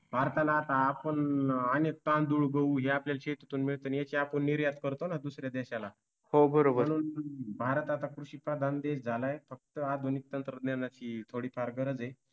भारताला आता आपण अनेक तांदूळ, गहू ह्यात या शेतीतून मिळतं आणि याच्या पण निर्यात करतो ना दुसऱ्या देशाला म्हणून भारत आता कृषिप्रधान देश झाला आहे फक्त आधुनिक तंत्रज्ञानाची थोडी फार गरज आहे.